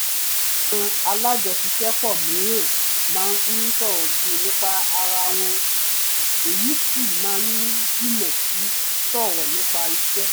àwọn alájọṣiṣẹ́pọ̀ mìíràn máa ń sọ̀rọ̀ jù nípa ara wọn èyí sì máa ń dínà sí sọ̀rọ̀ nípa iṣẹ́